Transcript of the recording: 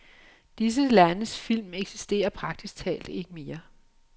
Disse landes film eksisterer praktisk talt ikke mere.